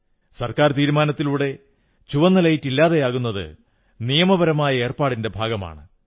സർക്കാർ തീരുമാനത്തിലൂടെ ചുവന്ന ലൈറ്റ് ഇല്ലാതെയാകുന്നത് നിയമപരമായ ഏർപ്പാടിന്റെ ഭാഗമാണ്